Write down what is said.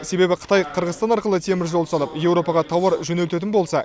себебі қытай қырғызстан арқылы теміржол салып еуропаға тауар жөнелтетін болса